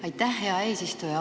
Aitäh, hea eesistuja!